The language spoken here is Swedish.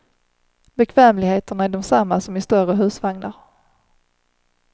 Bekvämligheterna är desamma som i större husvagnar.